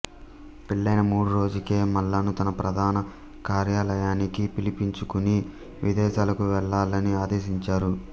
పెళ్లైన మూడు రోజులకే మల్లాను తన ప్రధాన కార్యాలయానికి పిలిపించుకుని విదేశాలకు వెళ్లాలని ఆదేశించారు